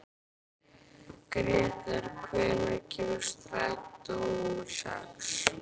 Gretar, hvenær kemur strætó númer sex?